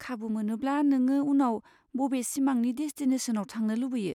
खाबु मोनोब्ला नोङो उनाव बबे सिमांनि डेसटिनेसनआव थांनो लुबैयो?